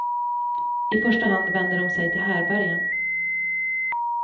I första hand vänder de sig till härbergen.